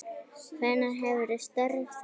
Hvenær hefurðu störf þarna?